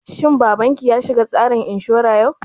Shin babanki ya shiga tsarin inshura yau?